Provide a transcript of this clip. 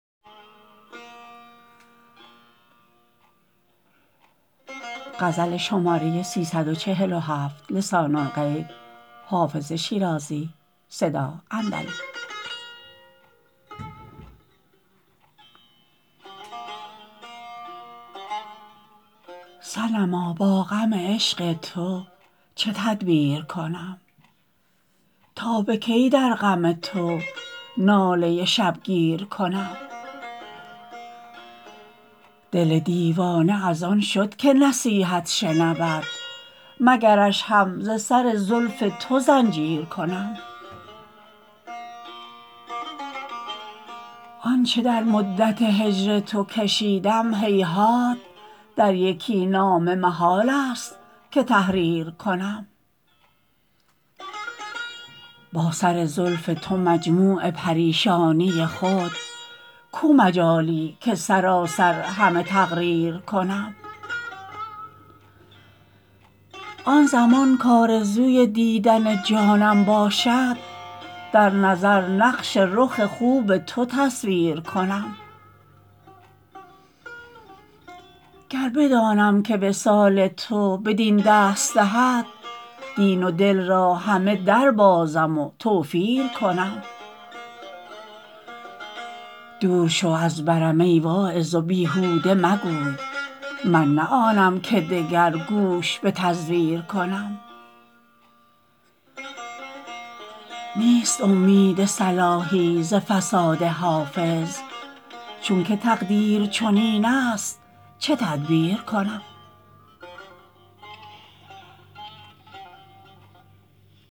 صنما با غم عشق تو چه تدبیر کنم تا به کی در غم تو ناله شبگیر کنم دل دیوانه از آن شد که نصیحت شنود مگرش هم ز سر زلف تو زنجیر کنم آن چه در مدت هجر تو کشیدم هیهات در یکی نامه محال است که تحریر کنم با سر زلف تو مجموع پریشانی خود کو مجالی که سراسر همه تقریر کنم آن زمان کآرزوی دیدن جانم باشد در نظر نقش رخ خوب تو تصویر کنم گر بدانم که وصال تو بدین دست دهد دین و دل را همه دربازم و توفیر کنم دور شو از برم ای واعظ و بیهوده مگوی من نه آنم که دگر گوش به تزویر کنم نیست امید صلاحی ز فساد حافظ چون که تقدیر چنین است چه تدبیر کنم